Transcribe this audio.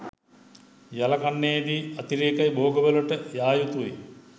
යල කන්නයේදී අතිරේක භෝගවලට යා යුතුයි